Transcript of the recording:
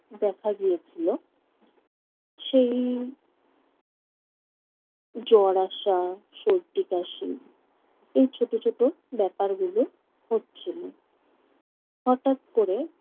দেখা দিয়েছিল। সেই জ্বর আসা, সর্দি কাশি এই ছোট ছোট ব্যাপারগুলো হচ্ছিল। হঠাৎ করে